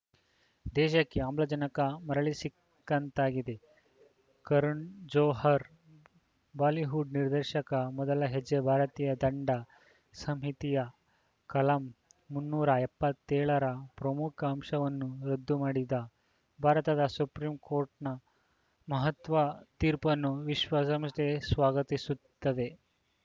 ದೇಶಕ್ಕೆ ಆಮ್ಲಜನಕ ಮರಳಿ ಸಿಕ್ಕಂತಾಗಿದೆ ಕರಣ್‌ ಜೋಹರ್‌ ಬಾಲಿವುಡ್‌ ನಿರ್ದೇಶಕ ಮೊದಲ ಹೆಜ್ಜೆ ಭಾರತೀಯ ದಂಡ ಸಂಹಿತೆಯ ಕಲಂ ಮುನ್ನೂರ ಎಪ್ಪತ್ತೆಳ ರ ಪ್ರಮುಖ ಅಂಶವನ್ನು ರದ್ದು ಮಾಡಿದ ಭಾರತದ ಸುಪ್ರೀಂ ಕೋರ್ಟ್‌ನ ಮಹತ್ವದ ತೀರ್ಪನ್ನು ವಿಶ್ವಸಂಸ್ಥೆ ಸ್ವಾಗತಿಸುತ್ತದೆ